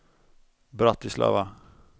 Bratislava